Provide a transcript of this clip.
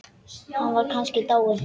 Var hún kannski dáin?